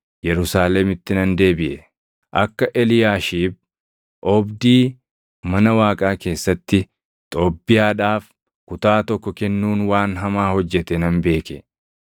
Yerusaalemitti nan deebiʼe. Akka Eliyaashiib oobdii mana Waaqaa keessatti Xoobbiyaadhaaf kutaa tokko kennuun waan hamaa hojjete nan beeke.